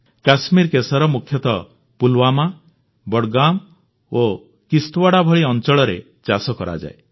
କଶ୍ମୀରୀ କେଶର ମୁଖ୍ୟତଃ ପୁଲୱାମା ବଡ଼ଗାମ ଓ କିସ୍ତୱାଡ଼ା ଭଳି ଅଂଚଳରେ ଚାଷ କରାଯାଏ